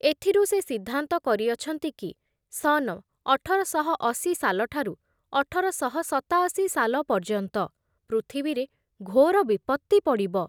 ଏଥିରୁ ସେ ସିଦ୍ଧାନ୍ତ କରିଅଛନ୍ତି କି ସନ ଅଠରଶହ ଅଶି ସାଲଠାରୁ ଅଠରଶହ ସତାଅଶି ସାଲ ପର୍ଯ୍ୟନ୍ତ ପୃଥିବୀରେ ଘୋର ବିପତ୍ତି ପଡ଼ିବ ।